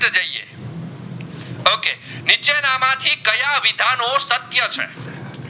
વિધાનો સત્ય છે